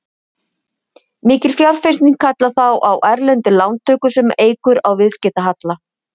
Mikil fjárfesting kallar þá á erlendar lántökur sem eykur á viðskiptahalla.